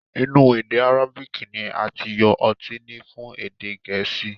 Inu ede Arabic ni ati yo oti ni fun ede geesi